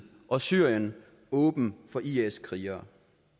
og syrien åben for is krigere